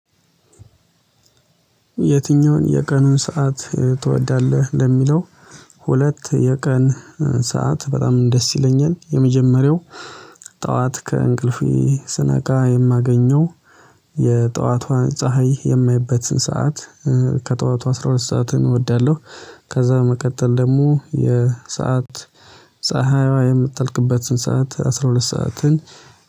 የትኛውን የቀኑን ሰዓት ትወዳለህ ለሚለው? ሁለት የቀን ሰዓት በጣም ደስ ይለኛል። የመጀመሪያው ጠዋት ከእንቅልፌ ስነቃ የማገኘው የጠዋቷን ፀሀይ የማይበትን ሰዓት። ከጠዋቱ አስራ ሁለት ሰዓትን እወዳለሁ። ከዛ በመቀጠል ደግሞ የ ሰዓት ፀሀይዋ የምትጠልቅበትን ሰዓት አስራ ሁለት ሰዓትን